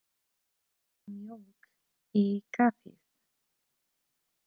Viltu mjólk í kaffið?